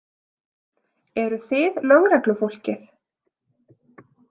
Eruð þið lögreglufólkið?